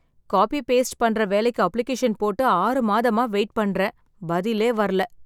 Copy paste பண்ற வேலைக்கு application போட்டு ஆறுமாதமா வெயிட் பண்றேன், பதிலே வரல.